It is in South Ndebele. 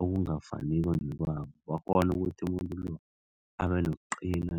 okungafaniko nekwabo bakghone ukuthi umuntu lo abenokuqina